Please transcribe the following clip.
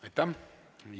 Aitäh!